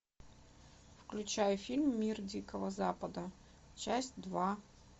включай фильм мир дикого запада часть два